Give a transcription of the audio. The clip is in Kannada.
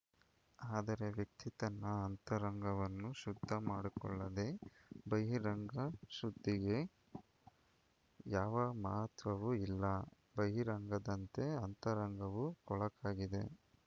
ಆದರೆ ವ್ಯಕ್ತಿ ತನ್ನ ಅಂತರಂಗವನ್ನು ಶುದ್ಧ ಮಾಡಿಕೊಳ್ಳದೆ ಬಹಿರಂಗ ಶುದ್ಧಿಗೆ ಯಾವ ಮಹತ್ವವೂ ಇಲ್ಲ ಬಹಿರಂಗದಂತೆ ಅಂತರಂಗವೂ ಕೊಳಕಾಗಿದೆ